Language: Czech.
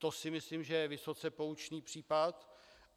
To si myslím, že je vysoce poučný případ.